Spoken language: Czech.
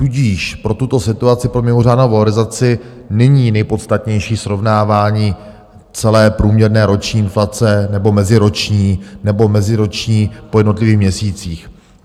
Tudíž pro tuto situaci, pro mimořádnou valorizaci, není nejpodstatnější srovnávání celé průměrné roční inflace, nebo meziroční, nebo meziroční po jednotlivých měsících.